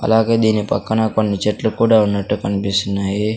అలాగే దీని పక్కన కొన్ని చెట్లు కూడా ఉన్నట్టు కన్పిస్తున్నాయి.